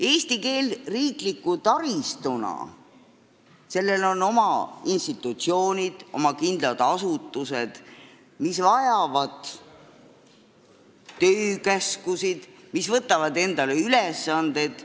Eesti keelel riikliku taristuna on oma institutsioonid, oma kindlad asutused, mis vajavad töökäske ja võtavad endale ülesandeid.